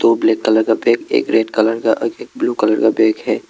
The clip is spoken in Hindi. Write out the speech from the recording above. वो ब्लैक कलर का बैग एक रेड कलर का और एक ब्लू कलर का बैग है।